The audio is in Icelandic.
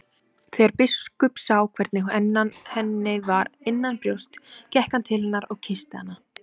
Þegar biskup sá hvernig henni var innanbrjósts gekk hann til hennar og kyssti hana.